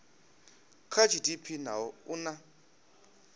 kha gdp naho u na